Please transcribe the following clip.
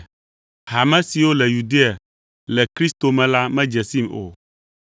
Hame siwo le Yudea le Kristo me la medze sim o.